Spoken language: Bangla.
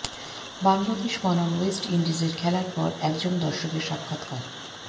বাংলাদেশ বনাম ওয়েস্ট ইন্ডিজের খেলার পর একজন দর্শকের সাক্ষাৎকার